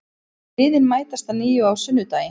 Liðin mætast að nýju á sunnudaginn